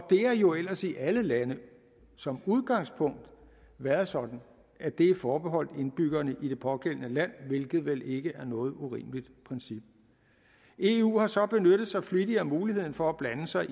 har jo ellers i alle lande som udgangspunkt været sådan at det er forbeholdt indbyggerne i det pågældende land hvilket vel ikke er noget urimeligt princip eu har så benyttet sig flittigt af muligheden for at blande sig